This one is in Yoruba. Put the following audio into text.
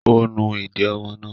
Ó nu ìdí ọmọ náà?